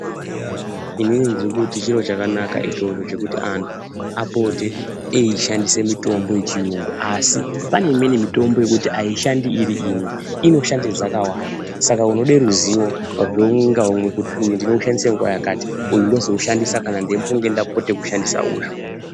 Inini ndiri kuti chiro chakanaka ichocho chekuti anthu apote eishandise mitombo yechiyungu asi pane imweni mitombo yekuti aishandi iri imwe inoshande dzakawanda saka unode ruziwo rweumwe ngaumwe kuti uyu ndinoushandise nguwa yakati uyu ndinoushandise nguwa yakati uyu ndozoushandisa.